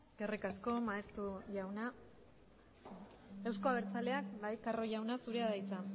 eskerrik asko maeztu jauna euzko abertzaleak carro jauna zurea da hitza